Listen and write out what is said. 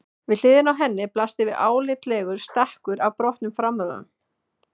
Við hliðina á henni blasti við álitlegur stakkur af brotnum framrúðum.